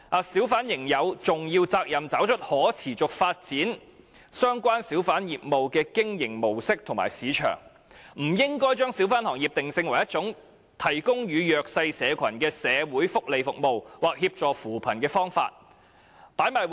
小販仍有重要責任找出可持續發展相關小販業務的經營模式及市場定位"；"不應把小販行業定性為一種提供予弱勢社群的社會福利服務，或協助扶貧的方法。